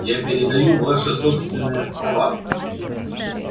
я передаю ваши собственные слова